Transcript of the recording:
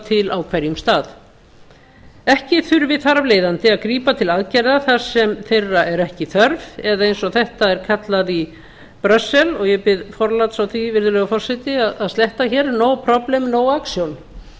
til ekki þurfi þar af leiðandi að grípa til aðgerða þar sem þeirra er ekki þörf eða eins þetta er kallað í brussel og ég bið forláts á því virðulegi forseti að sletta hér no problem no action